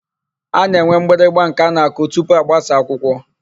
A na-enwe mgbịrịgba nke a na-akụ tupu agbasa akwụkwọ.